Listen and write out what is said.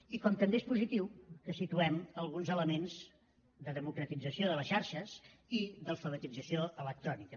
i com també és positiu que situem alguns elements de democratització de les xarxes i d’alfabetització electrònica